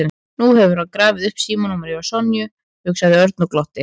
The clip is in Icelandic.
Nú hefur hann grafið upp símanúmerið hjá Sonju, hugsaði Örn og glotti.